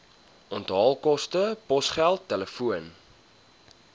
onthaalkoste posgeld telefoon